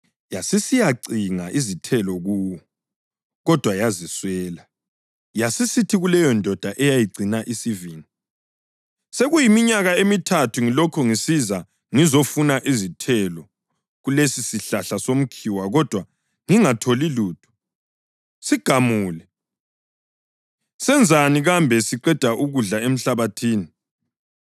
Yasisithi kuleyondoda eyayigcina isivini, ‘Sekuyiminyaka emithathu ngilokhu ngisiza ngizofuna izithelo kulesisihlahla somkhiwa kodwa ngingatholi lutho. Sigamule! Senzani kambe siqeda ukudla emhlabathini?’